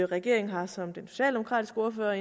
regeringen har som den socialdemokratiske ordfører